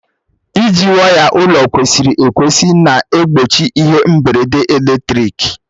Iji waya ụlọ kwesịrị ekwesị na-egbochi ihe mgberede eletrik.